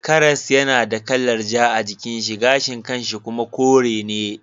Karas yana da kalar ja a jikin shi gashin kan shi kuma kore ne.